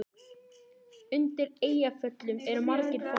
Undir Eyjafjöllum eru margir fossar.